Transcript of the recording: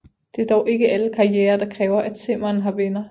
Det er dog ikke alle karrierer der kræver at simmeren har venner